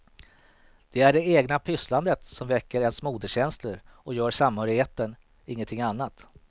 Det är det egna pysslandet som väcker ens moderskänslor och gör samhörigheten, ingenting annat.